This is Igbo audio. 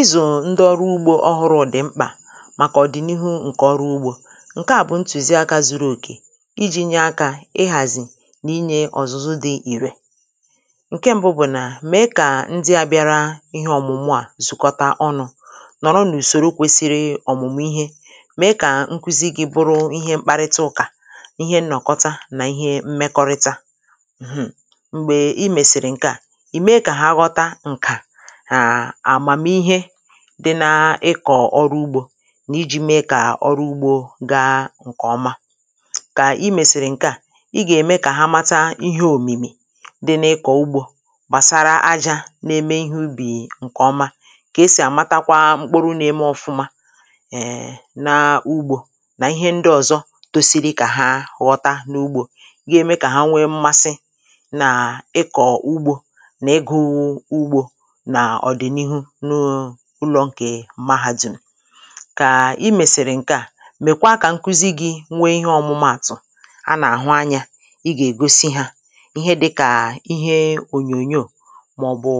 Ịzụ̀ ndị ọrụ ugbō ọhụrụ̄ dị̀ mkpà màkà ọ̀dị̀nihu ǹkè ọrụ ugbō ǹke à bụ̀ ntụ̀ziakā zuru òkè ijī nye akā ịhàzì nà inyē ọ̀zụ̀zu dị ìrè ǹke m̀bụ bụ̀ nà mèe kà ndị ā bịara ihe ọ̀mụ̀mụ à zùkọta ọnụ̄ nọ̀rọ n’ùsòro kwesiri ọ̀mụ̀mụ̀ ihe mèe kà nkụzi gị̄ bụ ihe mkparịta ụkà ihe nnọ̀kọta nà ihe mmekọrịta mhm m̀gbè ị mèsìrì ǹkè a ị̀ me kà ha ghọta ǹkà à àmàmihe dị na ịkọ̀ ọrụ ugbō nà ijī me kà ọrụ ugbō ga ǹkè ọma kà ị mèsìrì ǹke à ị gà-ème kà ha mata ihe òmìmì dị n’ịkọ̀ ugbō gbàsara ajā na-eme ihe ubì ǹkè ọma kà esì àmatakwa mkpụrụ na-eme ọfụma e nà ugbō nà ihe ndị ọ̀zọ tosiri kà ha ghọta n’ugbō ga-eme kà ha nwe mmasi nà ịkọ̀ ugbō nà ịgụ̄ ugbō nà ọ̀dị̀nihu n’ụ ụlọ̄ ǹkè mahādùm kà ị mèsìrì ǹke à mèkwa kà nkụzi gị̄ nwe ihe ọ̀mụmaàtụ̀ anà àhụ anyā ị gà ègosi hā ihe dịkà ihe ònyònyo màọ̀bụ̀